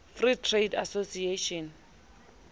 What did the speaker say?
free trade association